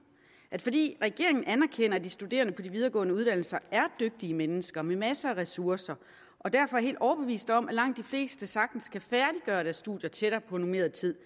at fordi regeringen anerkender at de studerende på de videregående uddannelser er dygtige mennesker med masser af ressourcer og derfor er helt overbevist om at langt de fleste sagtens kan færdiggøre deres studier tættere på normeret tid